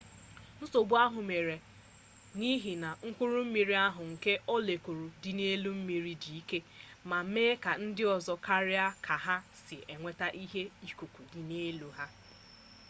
nsogbu ahụ mere n'ihi na mkpụrụ mmiri ahụ nke mọlekul dị n'elu mmiri dị ike ma mee ka ndịọzọ karịa ka ha si enweta ihe ikuku dị n'elu ha